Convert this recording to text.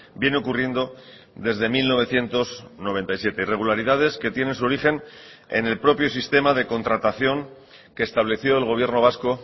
viene ocurriendo desde mil novecientos noventa y siete irregularidades que tienen su origen en el propio sistema de contratación que estableció el gobierno vasco